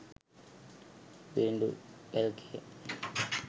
viridu lk